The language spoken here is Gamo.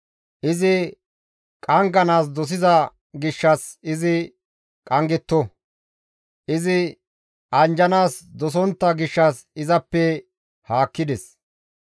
Izi qangganaas dosiza gishshas izi qanggetto! Izi anjjanaas dosontta gishshas izappe haakkides!